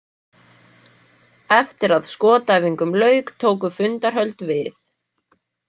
Eftir að skotæfingum lauk tóku fundarhöld við.